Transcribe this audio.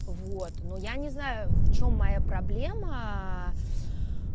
вот но я не знаю в чём моя проблема